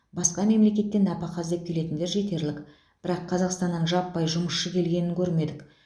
басқа мемлекеттен нәпақа іздеп келетіндер жетерлік бірақ қазақстаннан жаппай жұмысшы келгенін көрмедік